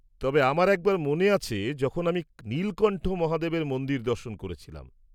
-তবে আমার একবার মনে আছে যখন আমি নীলকণ্ঠ মহাদেবের মন্দির দর্শন করেছিলাম।